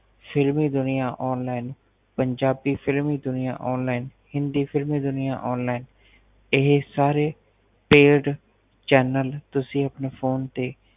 ਫ਼ਿਲਮੀ ਦੁਨੀਆਂ ਔਨਲਾਈਨ ਪੰਜਾਬੀ ਫ਼ਿਲਮੀ ਦੁਨੀਆਂ ਔਨਲਾਈਨ ਹਿੰਦੀ ਫ਼ਿਲਮੀ ਦੁਨੀਆਂ ਔਨਲਾਈਨ ਇਹ ਸਾਰੇ paidchannel ਤੁਸੀ ਆਪਣੇ phone ਤੇ